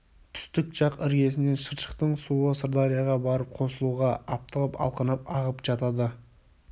түстік жақ іргесінен шыршықтың суы сырдарияға барып қосылуға аптығып алқынып ағып жатады